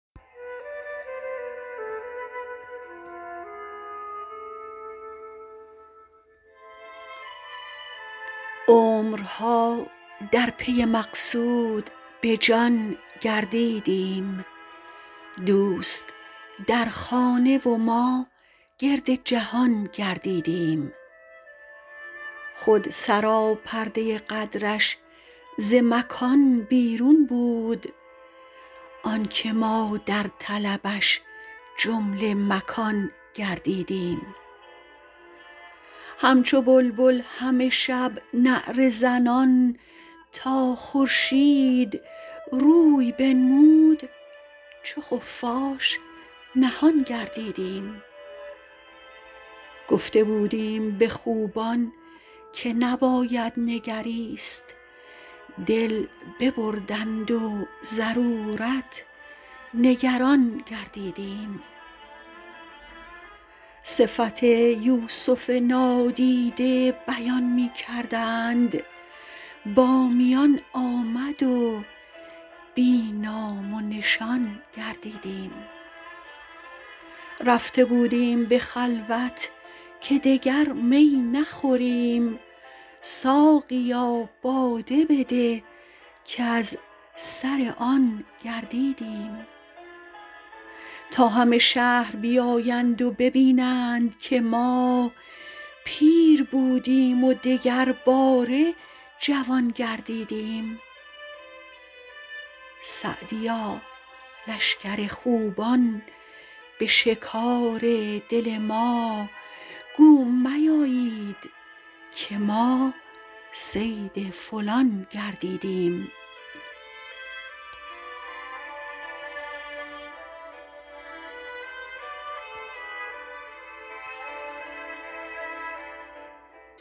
عمرها در پی مقصود به جان گردیدیم دوست در خانه و ما گرد جهان گردیدیم خود سراپرده قدرش ز مکان بیرون بود آن که ما در طلبش جمله مکان گردیدیم همچو بلبل همه شب نعره زنان تا خورشید روی بنمود چو خفاش نهان گردیدیم گفته بودیم به خوبان که نباید نگریست دل ببردند و ضرورت نگران گردیدیم صفت یوسف نادیده بیان می کردند با میان آمد و بی نام و نشان گردیدیم رفته بودیم به خلوت که دگر می نخوریم ساقیا باده بده کز سر آن گردیدیم تا همه شهر بیایند و ببینند که ما پیر بودیم و دگرباره جوان گردیدیم سعدیا لشکر خوبان به شکار دل ما گو میایید که ما صید فلان گردیدیم